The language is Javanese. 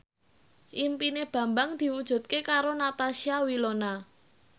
impine Bambang diwujudke karo Natasha Wilona